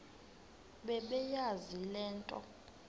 bebeyazi le nto